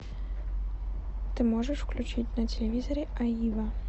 ты можешь включить на телевизоре аива